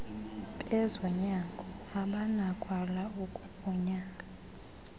bezonyango abanakwala ukukunyanga